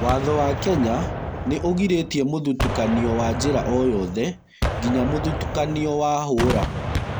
Watho wa Kenya nĩ ũgirĩtie mũthitukanio wa njĩra o yothe nginya mũthitukanio wa hũra.